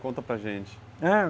Conta para gente